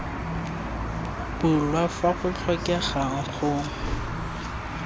bulwa fa go tlhokegang go